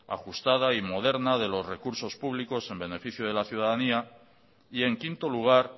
ajustada y moderna de los recursos públicos en beneficio de la ciudadanía y en quinto lugar